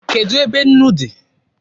Kedụ ebe nnu dị?